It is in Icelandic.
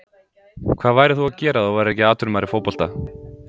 Hvað værir þú að gera ef þú værir ekki atvinnumaður í fótbolta?